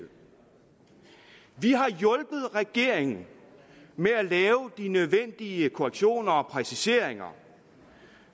har hjulpet regeringen med at lave de nødvendige korrektioner og præciseringer